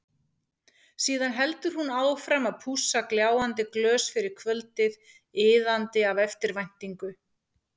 Síðan heldur hún áfram að pússa gljáandi glös fyrir kvöldið, iðandi af eftirvæntingu.